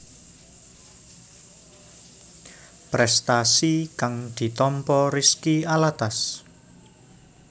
Prestasi kang ditampa Rizky Alatas